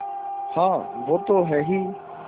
हाँ वो तो हैं ही